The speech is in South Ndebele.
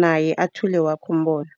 naye athule wakhe umbono.